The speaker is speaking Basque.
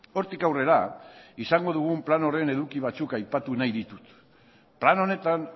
hortik aurrera izango dugun plan horren eduki batzuk aipatu nahi ditut plan honetan